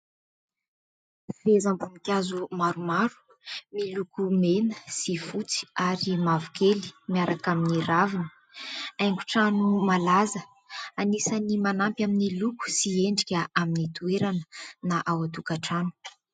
Fehezam-boninkazo maromaro miloko mena sy fotsy ary mavokely miaraka amin'ny ravina. Haingotrano malaza anisan'ny manampy amin'ny loko sy endrika amin'ny toerana na ao an-tokantrano.